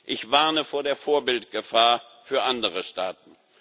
Ich warne vor der Vorbildgefahr für andere Staaten.